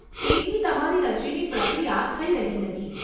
તેથી તમારી અરજીની પ્રક્રિયા થઈ રહી નથી.